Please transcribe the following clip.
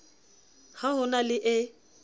ha ho na le e